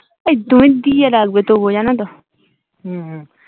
এই তুমি দিয়ে রাখবে তবুও জানতো হম হম